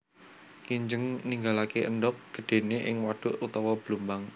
Kinjeng ninggalaké endhog gedhéné ing wadhuk utawa blumbang